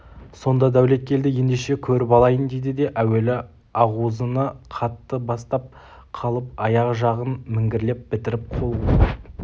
сонда дәулеткелді ендеше көріп алайын дейді де әуелі ағузыны қатты бастап қалып аяқ жағын міңгірлеп бітіріп қол қусырып